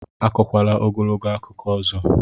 Akọkwala ogologo akụkọ ọzọ!